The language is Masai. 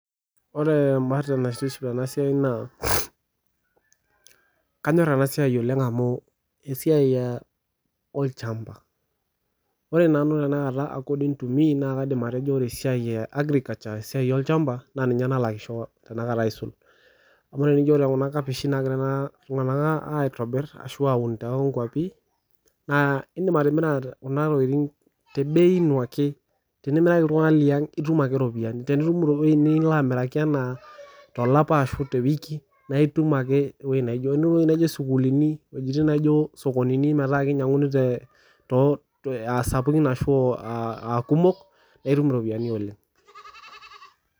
Ore embae naitiship tena siai naa, kanyorr ena siai oleng' amu esiai olchamba, ore nanu tanakata according to me naa kaidim aretejo ore esiai e agriculture esiai olchamba naa ninye nalakisho tanakata aisul, amu tenijo ore tanakata kuna kapishini naagira ena kulo tun'ganak aitobir ashu aaun toonkuapi, naa iidim atimira tebei ino ake tenimiraki iltung'anak liang' itum ake iropiyiani, tenimiraki ewoji nilo amiraki ashu tolapa ashu tewiki naitum ake kune wojitin naijo sukuulini, wojitin naijo sokonini metaa kinyiankuni aasapukin ashuu aakumok, naa itum iropiyiani oleng'.